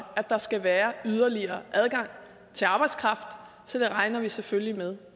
at der skal være yderligere adgang til arbejdskraft så det regner vi selvfølgelig med